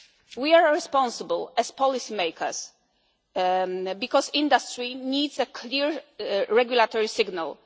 emissions cars. We are responsible as policy makers because industry needs a clear regulatory